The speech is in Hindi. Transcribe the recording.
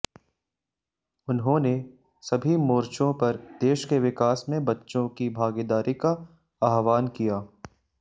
उन्होंने सभी मोर्चों पर देश के विकास में बच्चों की भागीदारी का आह्वान किया